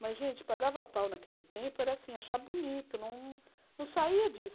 Mas, gente, pagava pau naquele tempo, era assim, achar bonito, não não saía disso.